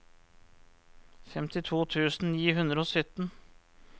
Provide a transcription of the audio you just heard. femtito tusen ni hundre og sytten